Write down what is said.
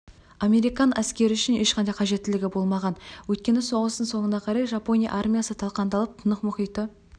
американ әскері үшін ешқандай қажеттілігі болмаған өйткені соғыстың соңына қарай жапония армиясы талқандалып тынық мұхиты